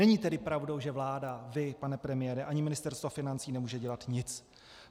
Není tedy pravdou, že vláda, vy pane premiére, ani Ministerstvo financí nemůže dělat nic.